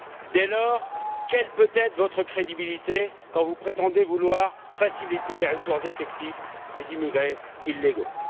Dès lors, quelle peut être votre crédibilité quand vous prétendez vouloir faciliter les retours effectifs des immigrés illégaux?